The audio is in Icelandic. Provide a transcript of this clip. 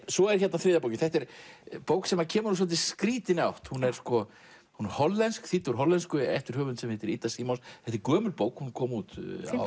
svo er hérna þriðja bókin þetta er bók sem kemur úr svolítið skrýtinni átt hún er hollensk þýdd úr hollensku eftir höfund sem heitir Ida gömul bók hún kom út